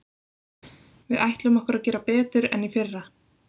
Við ætlum okkur að gera betur en í fyrra.